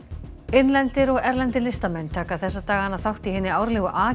innlendir og erlendir listamenn taka þessa dagana þátt hinni árlegu a